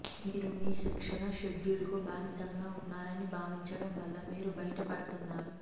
మీరు మీ శిక్షణా షెడ్యూల్కు బానిసగా ఉన్నారని భావించడం వల్ల మీరు బయట పడుతున్నారు